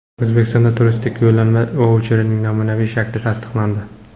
O‘zbekistonda turistik yo‘llanma vaucherning namunaviy shakli tasdiqlandi.